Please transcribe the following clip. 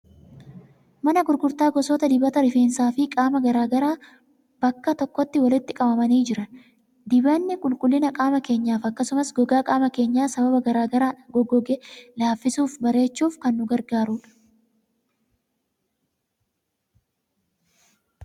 Mana gurgurtaa gosoota dibata rifeensaa fi qaamaa garaa garaa bakka tokkotti walitti qabamanii jiran. Dibanni qulqullina qaama keenyaaf akkasumas gogaa qaama keenyaa sababa garaa garaan goggoge laaffisuufi bareechuuf kan nu gargaarudha.